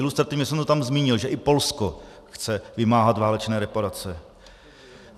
Ilustrativně jsem to tam zmínil, že i Polsko chce vymáhat válečné reparace.